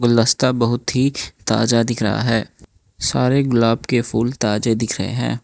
गुलदस्ता बहुत ही ताजा दिख रहा है सारे गुलाब के फूल ताजे दिख रहे है।